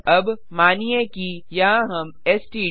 अब मानिए कि यहाँ हम एसटीडी